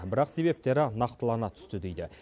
бірақ себептері нақтылана түсті дейді